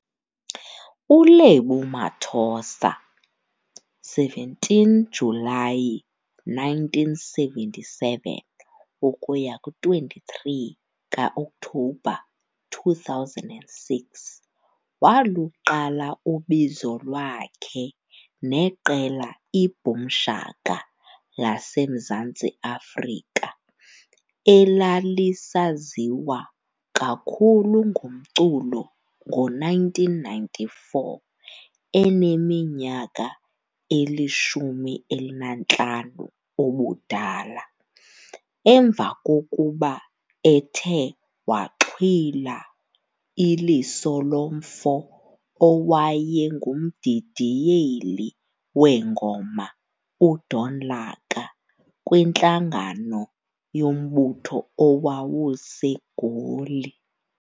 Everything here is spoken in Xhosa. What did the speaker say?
ULebo Mathosa, 17 kaJulayi 1977 ukuya ku23 kaOktobha 2006, waluqala ubizo lwakhe neqela iBoom Shaka laseMzantsi Afrika elalisaziwa kakhulu ngomculo ngo-1994 eneminyaka eli-15 ubudala, emva kokuba ethe waxhwila iliso lomfo owayengumdidiyeli weengoma uDon Laka kwintlangano yombutho owawuse Goli.